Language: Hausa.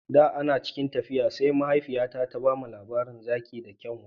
Da ana cikin tafiya sai mahaifiyata ta ba mu labarin zaki da kyanwa